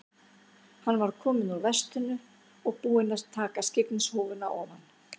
Hann var kominn úr vestinu og búinn að taka skyggnishúfuna ofan.